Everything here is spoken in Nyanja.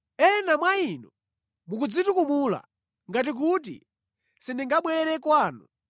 Ena mwa inu mukudzitukumula, ngati kuti sindingabwere kwanu.